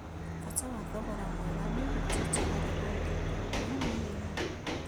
Bata ya thogora mwega nĩũhutĩtio harĩ ũthuthuria mũnini